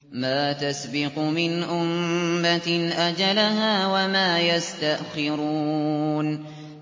مَا تَسْبِقُ مِنْ أُمَّةٍ أَجَلَهَا وَمَا يَسْتَأْخِرُونَ